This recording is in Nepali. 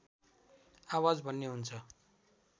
आवाज भन्ने हुन्छ